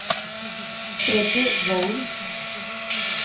Freddy Volden